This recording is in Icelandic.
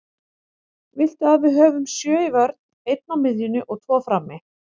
Viltu að við höfum sjö í vörn, einn á miðjunni og tvo frammi?